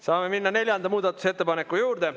Saame minna neljanda muudatusettepaneku juurde.